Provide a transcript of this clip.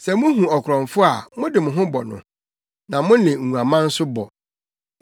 Sɛ muhu ɔkorɔmfo a mode mo ho bɔ no; na mo ne nguaman nso bɔ.